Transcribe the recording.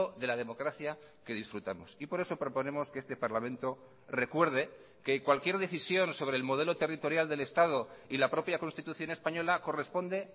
de la democracia que disfrutamos y por eso proponemos que este parlamento recuerde que cualquier decisión sobre el modelo territorial del estado y la propia constitución española corresponde